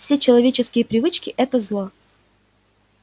все человеческие привычки это зло